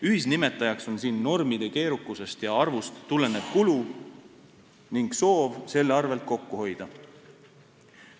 Ühisnimetajaks on siin normide keerukusest ja arvust tulenev kulu ning soov selle arvel kokku hoida.